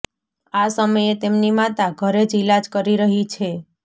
આ સમયે તેમની માતા ઘરે જ ઇલાજ કરી રહી છે